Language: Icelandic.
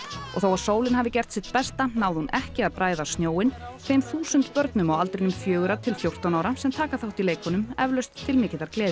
þó að sólin hafi gert sitt besta náði hún ekki að bræða snjóinn þeim þúsund börnum á aldrinum fjögurra til fjórtán ára sem taka þátt í leikunum eflaust til mikillar gleði